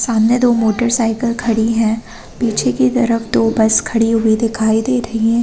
सामने दो मोटरसाइकिल खड़ी है पीछे की तरफ दो बस खड़ी हुई दिखाई दे रही है।